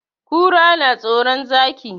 Kura na tsoron Zaki.